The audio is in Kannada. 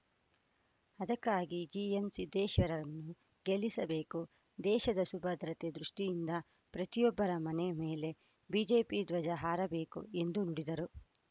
ಅದಕ್ಕಾಗಿ ಜಿಎಂ ಸಿದ್ದೇಶ್‌ರನ್ನು ಗೆಲ್ಲಿಸಬೇಕು ದೇಶದ ಸುಭದ್ರತೆ ದೃಷ್ಟಿಯಿಂದ ಪ್ರತಿಯೊಬ್ಬರ ಮನೆ ಮೇಲೆ ಬಿಜೆಪಿ ಧ್ವಜ ಹಾರಬೇಕು ಎಂದು ನುಡಿದರು